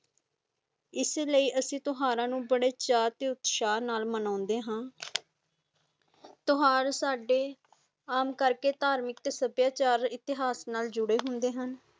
ਇਸ ਲੇਈ ਅਸੀ ਤੁਹਾਰਾ ਨੂ ਬਦੇ ਚਵਾ ਤੇ ਉਤਸਾਹ ਨਾਲ ਮਨਦੇ ਹਾਂ, ਟਯੋਹਰ ਸਦਾ ਕਰਕੇ ਆਮ ਕਰਕੇ ਤਾਰਮਿਕ ਤੇ ਸਬਿਆਚਾਰ ਇਤਿਹਾਸ ਨਾਲ ਜੁਡੇ ਹਾ।